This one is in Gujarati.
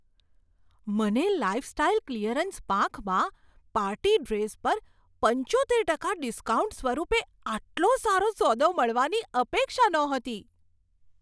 મને લાઈફસ્ટાઈલ ક્લિયરન્સ પાંખમાં પાર્ટી ડ્રેસ પર પંચોતેર ટકા ડિસ્કાઉન્ટ સ્વરૂપે આટલો સારો સોદો મળવાની અપેક્ષા નહોતી.